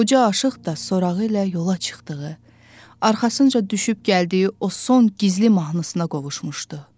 qoca aşiq də sorağı ilə yola çıxdığı, arxasınca düşüb gəldiyi o son gizli mahnısına qovuşmuşdu.